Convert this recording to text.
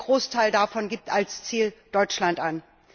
Ein Großteil davon gibt als Ziel Deutschland an.